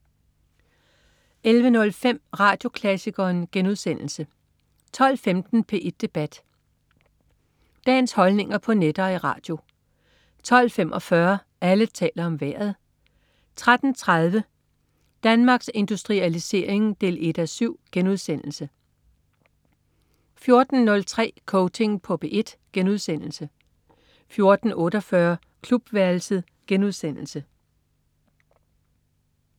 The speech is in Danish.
11.05 Radioklassikeren* 12.15 P1 Debat. Dagens holdninger på net og i radio 12.45 Alle taler om Vejret 13.30 Danmarks Industrialisering 1:7* 14.03 Coaching på P1* 14.48 Klubværelset*